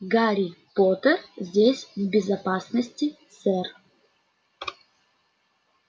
гарри поттер здесь в безопасности сэр